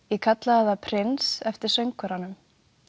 ég kallaði það prins eftir söngvaranum